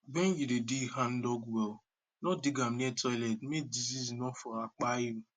when you won dig handdug well no dig am near toilet make disease nor for apiai you